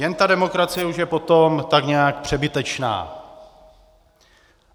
Jen ta demokracie už je potom tak nějak přebytečná.